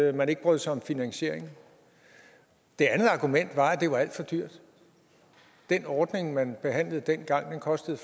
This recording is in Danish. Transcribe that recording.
at man ikke brød sig om finansieringen det andet argument var at det var alt for dyrt den ordning man behandlede dengang kostede